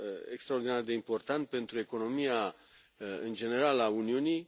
extraordinar de important pentru economia, în general, a Uniunii.